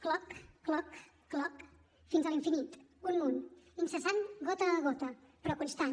cloc cloc cloc fins a l’infinit un munt incessant gota a gota però constant